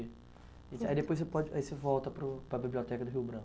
Aí você pode, aí você volta para o para a Biblioteca do Rio Branco?